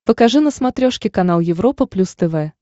покажи на смотрешке канал европа плюс тв